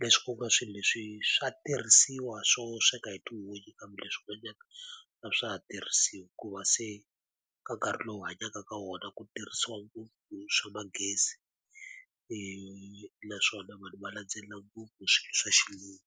leswi ku ka swilo leswi swa tirhisiwa swo sweka hi tihunyi kambe leswi n'wanyana a swa ha tirhisiwi hikuva se ka nkarhi lowu hi hanyaka ka wona ku tirhisiwa ngopfu swa magezi. Naswona vanhu va landzelela ngopfu hi swilo swa Xilungu.